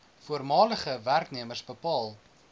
voormalige werknemers bepaal